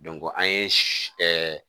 an ye